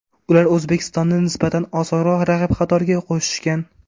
Ular O‘zbekistonni nisbatan osonroq raqib qatoriga qo‘shishgan.